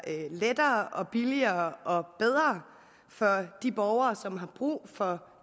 lettere billigere og bedre for de borgere som har brug for